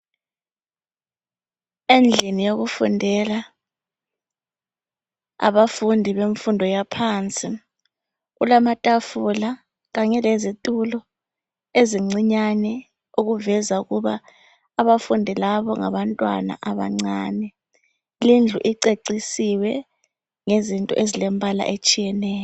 Endlini yokufundela abafundi benfundo yaphansi , kulamathafula Kanye lezithulo ezincinyane okuveza ukuba abafundi labo . Ngabantwana abancane ,kindly icecisiwe ngezinto ezilembala etshiyeneyo.